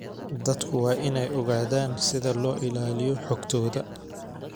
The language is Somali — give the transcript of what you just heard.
Dadku waa inay ogaadaan sida loo ilaaliyo xogtooda.